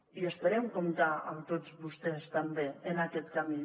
i esperem comptar amb tots vostès també en aquest camí